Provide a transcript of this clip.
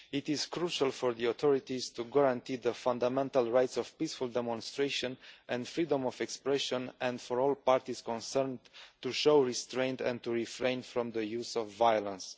It is crucial for the authorities to guarantee the fundamental rights of peaceful demonstration and freedom of expression and for all parties concerned to show restraint and to refrain from the use of violence.